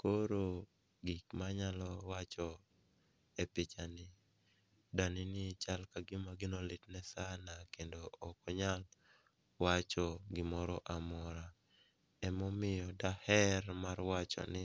koro gik manyalo wacho e pichani, danini chal ka gima gino litne sana kendo ok onyal wacho gimora mora emomiyo daher mar wacho ni